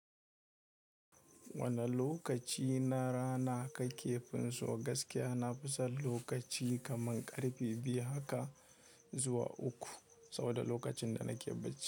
Wane lokaci na rana kake finso? Gaskiya na fi son lokaci kaman karfe biyu haka zuwa uku saboda lokacin da nake bacci.